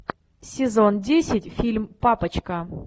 сезон десять фильм папочка